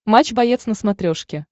матч боец на смотрешке